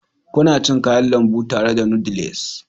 Kuna cin Kayan lambu tare da noodles?